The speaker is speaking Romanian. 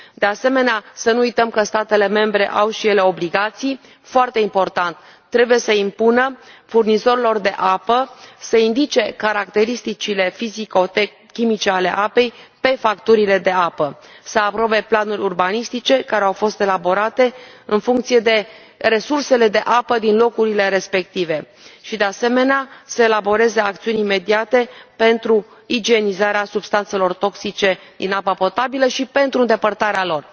De asemenea, să nu uităm că statele membre au și ele obligații foarte importante trebuie să impună furnizorilor de apă să indice caracteristicile fizico chimice ale apei pe facturile de apă, să aprobe planuri urbanistice care au fost elaborate în funcție de resursele de apă din locurile respective și, de asemenea, să elaboreze acțiuni imediate pentru igienizarea substanțelor toxice din apa potabilă și pentru îndepărtarea lor.